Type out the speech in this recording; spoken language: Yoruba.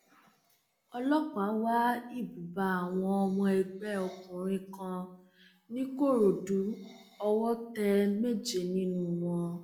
ọlọpàá wá ibùba àwọn ọmọ ẹgbẹ òkùnkùn kan nìkòròdú owó tẹ méje nínú wọn